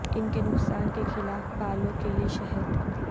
ان کے نقصان کے خلاف بالوں کے لئے شہد